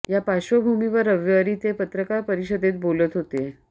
या पार्श्वभूमीवर रविवारी ते पत्रकार परिषदेत बोलत होते